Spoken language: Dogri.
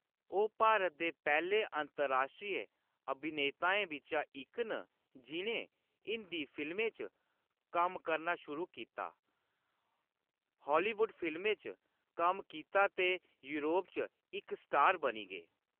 ओह्‌‌ भारत दे पैह्‌‌‌ले अंतर्राष्ट्रीय अभिनेताएं बिच्चा इक न जि'नें हिंदी फिल्में च कम्म करना शुरू कीता, हालीवुड फिल्में च कम्म कीता ते योरप च इक स्टार बनी गे।